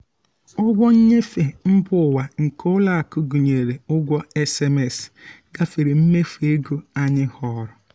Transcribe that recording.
ụgwọ nnyefe mba ụwa nke ụlọakụ gụnyere ụgwọ sms gafere mmefu ego anyị họọrọ.